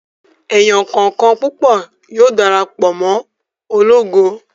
Èèyàn kọ̀ọ̀kan púpọ̀ yóò dara pọ̀ mọ́ ológo